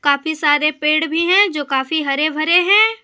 काफी सारे पेड़ भी हैं जो काफी हरे भरे हैं।